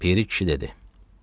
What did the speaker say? Piri kişi dedi: